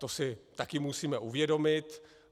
To si také musíme uvědomit.